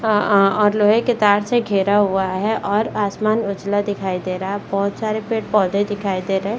अ अ अ और लोहे के तार से घेरा हुआ है और आसमान उजला दिखाई दे रहा है बहुत सारे पेड़-पौधे दिखाई दे रहे।